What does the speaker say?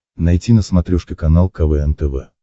найти на смотрешке канал квн тв